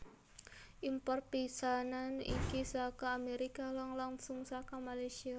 Import pisanan iki saka Amérika lang langsung saka Malaysia